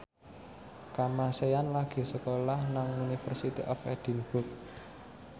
Kamasean lagi sekolah nang University of Edinburgh